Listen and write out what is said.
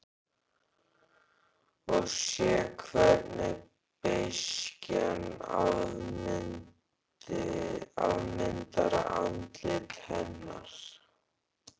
Og sé hvernig beiskjan afmyndar andlit hennar.